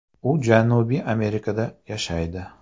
U Janubiy Amerikada yashaydi.